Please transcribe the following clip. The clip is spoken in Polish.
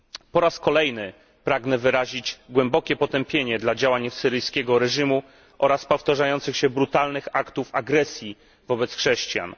Po raz kolejny pragnę wyrazić głębokie potępienie dla działań syryjskiego reżimu oraz powtarzających się brutalnych aktów agresji wobec chrześcijan.